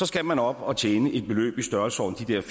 skal man op og tjene et beløb i størrelsesordenen